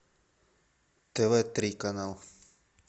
тв три канал